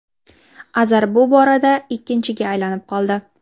Azar bu borada ikkinchiga aylanib oldi.